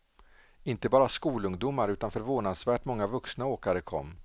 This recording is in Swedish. Inte bara skolungdomar utan förvånansvärt många vuxna åkare kom.